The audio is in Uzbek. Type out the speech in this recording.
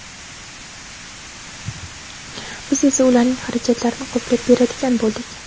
biz esa ularning xarajatlarini qoplab beradigan bo‘ldik.